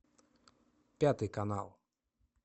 пятый канал